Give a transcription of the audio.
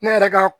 Ne yɛrɛ ka